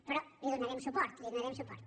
però hi donarem suport hi donarem suport